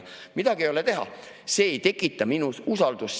Midagi ei ole teha, see ei tekita minus usaldust.